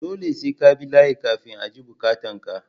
Dole sai kabi layi kafin a ji bukatan ka.